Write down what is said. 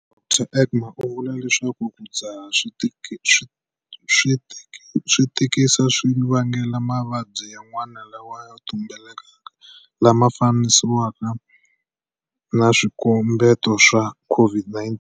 Dr Egbe u vula leswaku ku dzaha swi tikisa swi vangela mavabyi yan'wana lama ya tumbeleke lama fananisiwaka na swikombeto swa COVID-19.